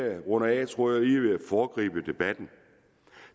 jeg runder af tror jeg lige at jeg vil foregribe debatten